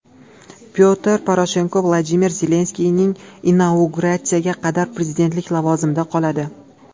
Pyotr Poroshenko Vladimir Zelenskiyning inauguratsiyasiga qadar prezidentlik lavozimida qoladi.